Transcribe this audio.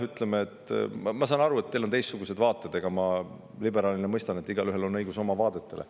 Ütleme, ma saan aru, et teil on teistsugused vaated, ja ma liberaalina mõistan, et igaühel on õigus oma vaadetele.